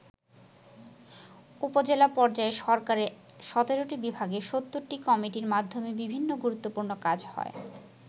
উপজেলা পর্যায় সরকারের ১৭টি বিভাগের ৭০টি কমিটির মাধ্যমে বিভিন্ন গুরুত্বপূর্ণ কাজ হয়।